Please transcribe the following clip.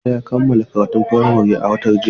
Musa ya kammala karatun firamare a watan jiya.